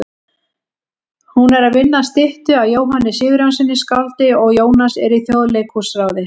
Hún er að vinna að styttu af Jóhanni Sigurjónssyni skáldi og Jónas er í Þjóðleikhúsráði.